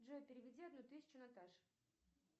джой переведи одну тысячу наташе